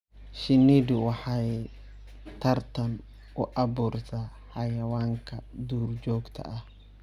Shinnidu waxay tartan u abuurtaa xayawaanka duurjoogta ah.